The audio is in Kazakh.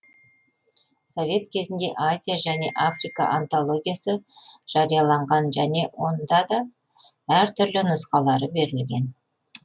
совет кезінде азия және африка антологиясы жарияланған және онда да әр түрлі нұсқалары берілген